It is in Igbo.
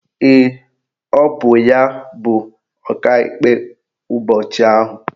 Ee, bụ ya bụ Ọkaikpe ụbọchị ahụ.